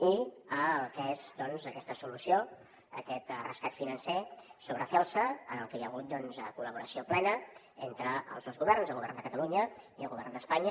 i el que és doncs aquesta solució aquest rescat financer sobre celsa en el que hi ha hagut col·laboració plena entre els dos governs el govern de catalunya i el govern d’espanya